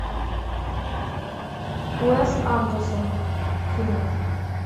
уэс андерсон фильмы